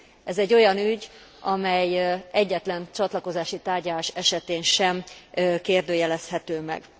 Ez egy olyan ügy, amely egyetlen csatlakozási tárgyalás esetén sem kérdőjelezhető meg.